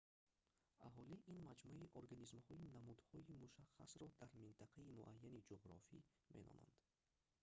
аҳолӣ ин маҷмӯи организмҳои намудҳои мушаххасро дар минтақаи муайяни ҷуғрофӣ меноманд